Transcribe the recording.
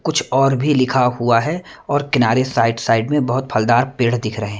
कुछ और भी लिखा हुआ है और किनारे साइड साइड में बहुत फलदार पेड़ दिख रहे हैं।